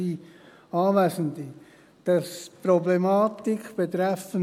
der SiK. Die Problematik betreffend